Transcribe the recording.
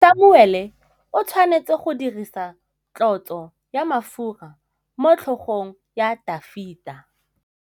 Samuele o tshwanetse go dirisa tlotsô ya mafura motlhôgong ya Dafita.